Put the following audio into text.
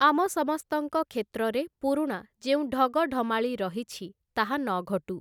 ଆମ ସମସ୍ତଙ୍କ କ୍ଷେତ୍ରରେ ପୁରୁଣା ଯେଉଁ ଢଗଢ଼ମାଳି ରହିଛି ତାହା ନଘଟୁ ।